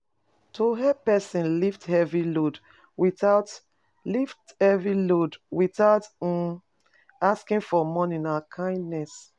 To help persin lift heavy load without load without um asking for money na kindness